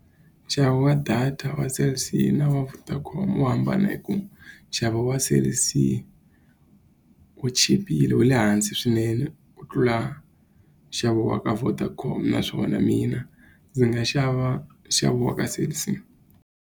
Nxavo wa data wa Cell C na wa Vodacom wu hambana hi ku, nxavo wa Cell C wu chipile wa le hansi swinene ku tlula nxavo wa ka Vodacom. Naswona mina ndzi nga xava nxavo wa ka Cell C.